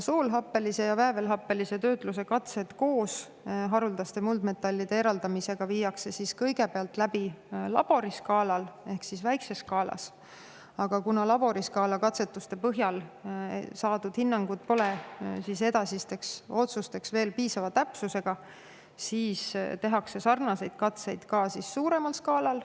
Soolhappelise ja väävelhappelise töötluse katsed koos haruldaste muldmetallide eraldamisega viiakse kõigepealt läbi laboriskaalal ehk väikeses skaalas, aga kuna laboriskaala katsetuste põhjal saadud hinnangud pole edasisteks otsusteks veel piisava täpsusega, tehakse sarnaseid katseid ka suuremal skaalal.